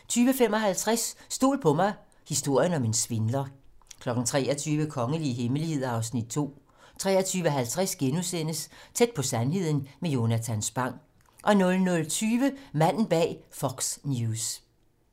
20:55: Stol på mig - historien om en svindler 23:00: Kongelige hemmeligheder (Afs. 2) 23:50: Tæt på sandheden med Jonatan Spang * 00:20: Manden bag Fox News